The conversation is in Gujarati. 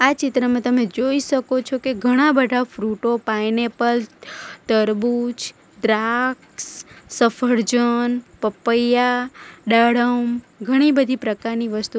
ચિત્રમાં તમે જોઈ શકો છો કે ઘણા બધા ફ્રુટો પાઈનેપલ તરબૂચ દ્રાક્ષ સફરજન પપૈયા દાડમ ઘણી બધી પ્રકારની વસ્તુઓ --